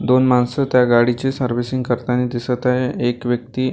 दोन माणसं त्या गाडीचे सर्विसिंग करताना दिसत आहे एक व्यक्ती--